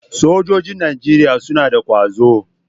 Sojojin Najeriya suna da kwazo.